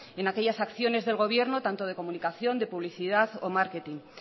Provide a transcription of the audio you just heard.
en aquellas acciones del gobierno tanto de comunicación de publicidad o marketing